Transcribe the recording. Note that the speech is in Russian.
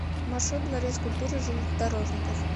маршрут дворец культуры железнодорожников